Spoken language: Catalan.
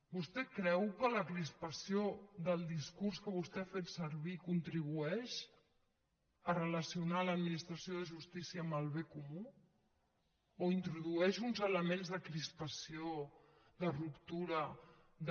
vostè creu que la crispació del discurs que vostè ha fet servir contribueix a relacionar l’administració de justícia amb el bé comú o introdueix uns elements de crispació de ruptura de